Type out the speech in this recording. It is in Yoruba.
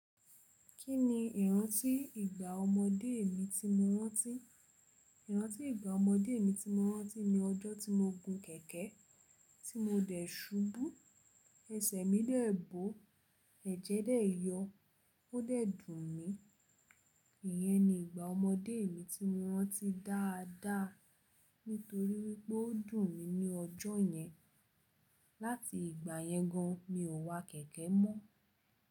Kí ni ìrántí ìgbà ọmọdé mi tí mo rántí? Ìrántí ìgbà ọmọdé mi tí mo rántí ni ọjọ́ tí mo gun kẹ̀kẹ́, tí mo dẹ̀ ṣubú, ẹsẹ̀ mi dẹ̀ bò, ẹ̀jẹ̀ dẹ̀ yọ, ó dẹ̀ dùn mi. Ìyẹn ni ìgbà ọmọdé mi tí mo rántí dáadáa nítorí wípé ó dùn mí ní ọjọ́ yẹn. Láti ìgbà yẹn gan mi ò wa kẹ̀kẹ́ mọ́